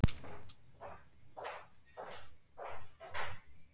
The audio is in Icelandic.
Sjálfum sér til handa.